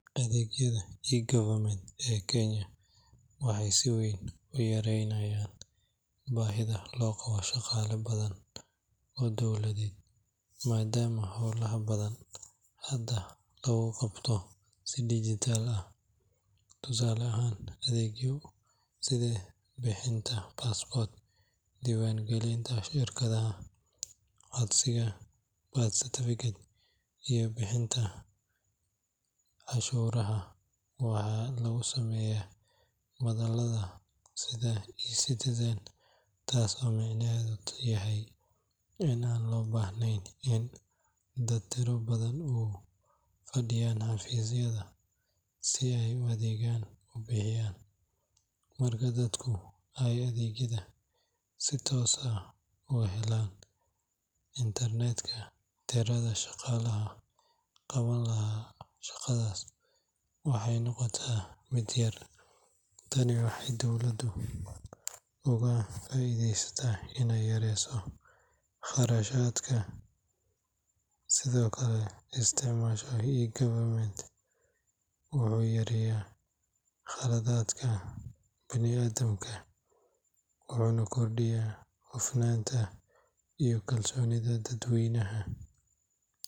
Adeegyada eGovernment ee Kenya waxay si weyn u yaraynayaan baahida loo qabo shaqaale badan oo dowladeed, maadaama howlaha badan hadda lagu qabto si dhijitaal ah. Tusaale ahaan, adeegyo sida bixinta passport, diiwaangelinta shirkado, codsiga birth certificate, iyo bixinta cashuuraha waxaa lagu sameeyaa madalaha sida eCitizen taas oo micnaheedu yahay in aan loo baahnayn in dad tiro badan u fadhiyaan xafiisyada si ay adeegyo u bixiyaan. Marka dadku ay adeegyada si toos ah uga helaan internet-ka, tirada shaqaalaha qaban lahaa shaqadaas waxay noqotaa mid yar. Tani waxay dowladdu uga faa’iidaysaa iney yareyso kharashka mushaharka, iyadoo lacagtaas loo weecin karo horumarin kale sida caafimaadka ama waxbarashada. Sidoo kale, isticmaalka eGovernment wuxuu yareeyaa khaladaadka bini’aadamka, wuxuuna kordhiyaa hufnaanta iyo kalsoonida dadweynaha.